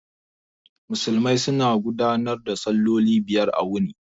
Musulmai suna gudanar da salloli biyar a wuni